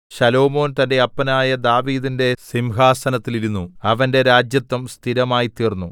ശലോമോൻ തന്റെ അപ്പനായ ദാവീദിന്റെ സിംഹാസനത്തിൽ ഇരുന്നു അവന്റെ രാജത്വം സ്ഥിരമായിത്തീർന്നു